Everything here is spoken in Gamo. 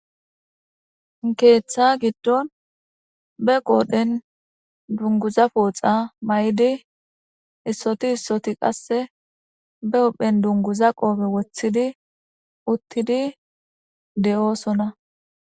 keeththa giddon be qodhdhen dunguza pooxa may'idi issoti issoti qasse be huphphen dunguza qoope woththidi uttidi de'oosonna